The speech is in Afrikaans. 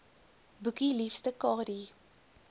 boekie liefste kadie